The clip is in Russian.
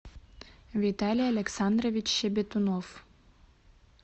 виталий александрович щебетунов